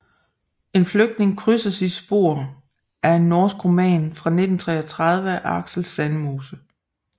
En flygtning krydser sit spor er en norsk roman fra 1933 af Aksel Sandemose